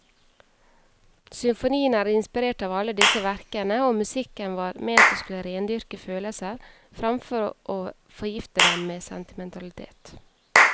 Symfonien er inspirert av alle disse verkene, og musikken var ment å skulle rendyrke følelser framfor å forgifte dem med sentimentalitet.